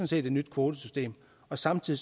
set et nyt kvotesystem og samtidig